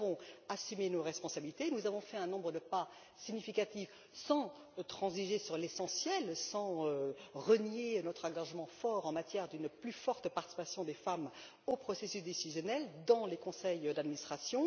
Nous avons assumé nos responsabilités, nous avons fait un nombre de pas significatifs sans transiger sur l'essentiel, sans renier notre engagement fort en vue d'une plus forte participation des femmes au processus décisionnel dans les conseils d'administration.